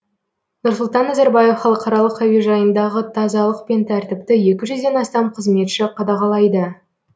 нұрсұлтан назарбаев халықаралық әуежайындағы тазалық пен тәртіпті екі жүзден астам қызметші қадағалайды